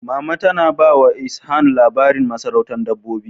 Mama tana ba wa Ishan labarin masarautar Dabbobi.